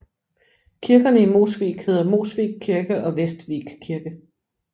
Kirkerne i Mosvik hedder Mosvik kirke og Vestvik kirke